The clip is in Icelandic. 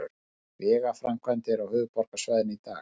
Vegaframkvæmdir á höfuðborgarsvæðinu í dag